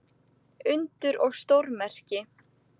Undur og stórmerki.